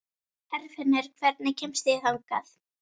Herfinnur, hvernig kemst ég þangað?